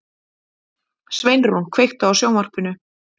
Sveinrún, kveiktu á sjónvarpinu.